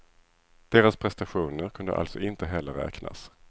Deras prestationer kunde alltså inte heller räknas.